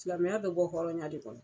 Silamɛya bɛ bɔ hɔrɔnya de kɔnɔ.